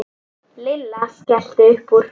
Lilla skellti upp úr.